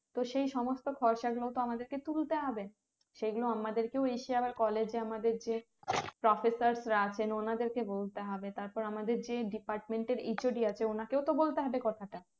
তো সেই সমস্ত খরচা গুলো তো আমাদেরকে তুলতে হবে সেই গুলো আমাদেরকে এসে আবার college আমাদের যে professor রা আছেন ওনাদেরকে বলতে হবে তারপর আমাদের যে department এর HOD আছেওনাকেও তো বলতে হবে কথাটা